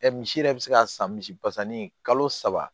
misi yɛrɛ bɛ se ka san misi pasani kalo saba